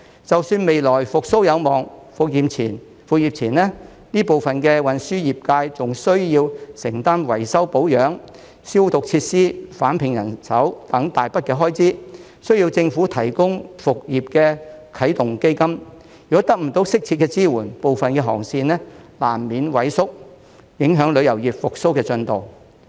即使未來復蘇有望，復業前，這部分的運輸業界仍需要承擔維修保養、消毒設施、重聘人手等一大筆開支，需要政府提供復業的啟動基金；如果得不到適切支援，部分的航線難免萎縮，影響旅遊業復蘇的進度。